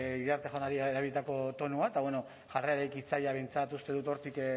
diot iriarte jaunari erabilitako tonua eta bueno jarrera eraikitzailea behintzat uste dut hortik